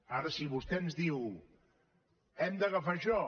ara si vostè ens diu hem d’agafar això